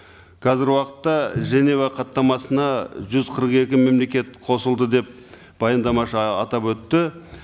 қазіргі уақытта женева хаттамасына жүз қырық екі мемлекет қосылды деп баяндамашы атап өтті